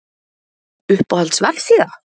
Uppáhalds vefsíða:???